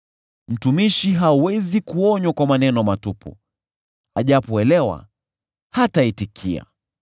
Mtumishi hawezi kuonywa kwa maneno matupu, ajapoelewa, hataitikia.